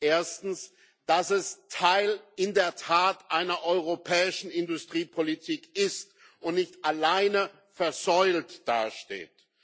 Erstens dass es in der Tat Teil einer europäischen Industriepolitik ist und nicht alleine versäult dasteht